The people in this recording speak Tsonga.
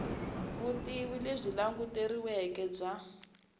vutivi lebyi languteriweke bya